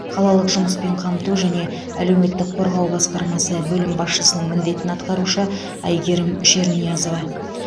қалалық жұмыспен қамту жане әлеуметтік қорғау басқармасы бөлім басшысының міндетін атқарушы әйгерім шерниязова